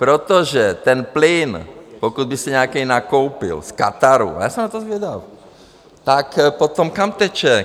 Protože ten plyn, pokud by se nějaký nakoupil v Kataru, a já jsem na to zvědav, tak potom kam teče?